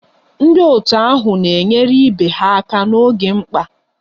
Ndị otu ahụ na-enyere ibe ha aka n'oge mkpa